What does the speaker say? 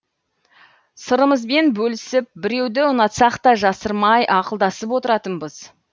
сырымызбен бөлісіп біреуді ұнатсақ та жасырмай ақылдасып отыратынбыз